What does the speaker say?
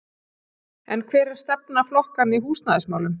En hver er stefna flokkanna í húsnæðismálum?